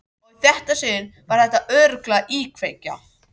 Og í þetta sinn var þetta örugglega íkveikja.